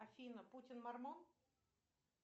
афина путин мормон